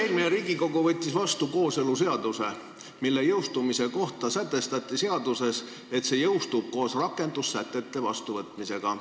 Eelmine Riigikogu võttis vastu kooseluseaduse, mille jõustumise kohta sätestati seaduses, et see jõustub koos rakendusaktide vastuvõtmisega.